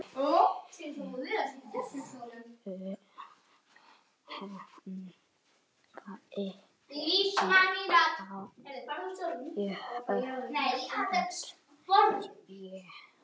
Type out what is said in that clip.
Tekur enginn á móti þér?